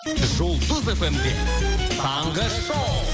жұлдыз фмде таңғы шоу